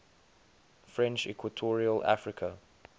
french equatorial africa